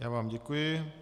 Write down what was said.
Já vám děkuji.